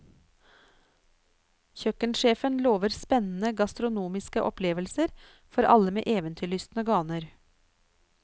Kjøkkensjefen lover spennende gastronomiske opplevelser for alle med eventyrlystne ganer.